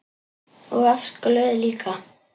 Og oft glöð líka.